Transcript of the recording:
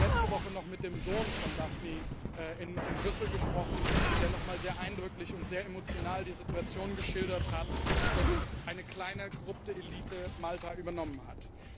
Ich habe letzte Woche noch mit dem Sohn von Daphne in Brüssel gesprochen, der noch mal sehr eindrücklich und sehr emotional die Situation geschildert hat, dass eine kleine korrupte Elite Malta übernommen hat.